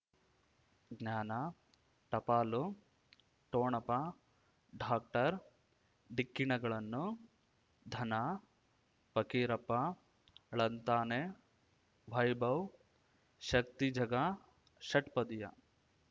ಜ್ಞಾನ ಟಪಾಲು ಠೊಣಪ ಡಾಕ್ಟರ್ ಢಿಕ್ಕಿ ಣಗಳನು ಧನ ಫಕೀರಪ್ಪ ಳಂತಾನೆ ವೈಭವ್ ಶಕ್ತಿ ಝಗಾ ಷಟ್ಪದಿಯ